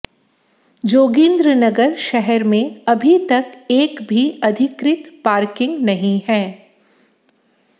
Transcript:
जोगिंद्रनगर शहर में अभी तक एक भी अधिकृत पार्किंग नहीं है